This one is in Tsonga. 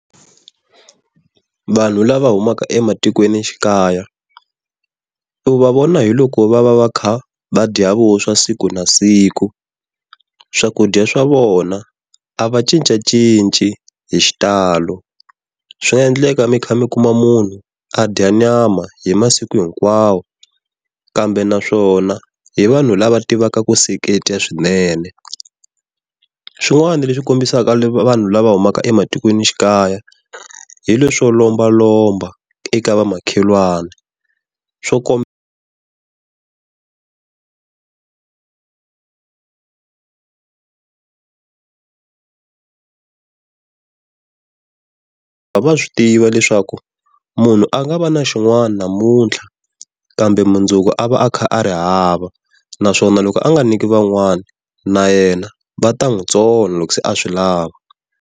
Vanhu lava humaka ematikweni xikaya u va vona hiloko va va va kha va dya vuswa siku na siku swakudya swa vona a va cincacinci hi xitalo. Swi nga endleka mi kha mi kuma munhu a dya nyama hi masiku hinkwawo kambe naswona hi vanhu lava tivaka ku seketa swinene. Swin'wana leswi kombisaka vanhu lava humaka ematikweni xikaya hi le swo lomba lomba eka vamakhelwana swo komba va swi tiva leswaku munhu a nga va na xin'wana namuntlha, kambe mundzuku a va a kha a ri hava naswona loko a nga nyiki van'wana na yena va ta n'wi tsona loko se a swi lava.